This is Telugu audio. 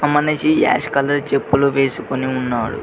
మనిషి యాష్ కలర్ చెప్పులు వెస్కొని ఉన్నాడు.